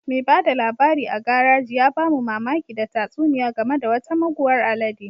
Mai ba da labari a garaji ya ba mu mamaki da tatsuniya game da wata muguwar alede